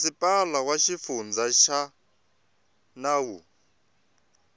masipala wa xifundza na wa